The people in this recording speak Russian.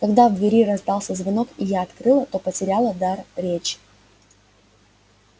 когда в двери раздался звонок и я открыла то потеряла дар речи